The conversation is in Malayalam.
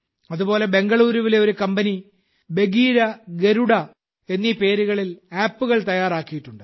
അതുപോലെ ബംഗളൂരുവിലെ ഒരു കമ്പനി ബഗീര ഗരുഡ എന്നീ പേരുകളിൽ ആപ്പുകൾ തയ്യാറാക്കിയിട്ടുണ്ട്